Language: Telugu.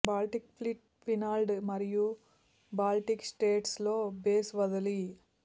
బాల్టిక్ ఫ్లీట్ ఫిన్లాండ్ మరియు బాల్టిక్ స్టేట్స్ లో బేస్ వదిలి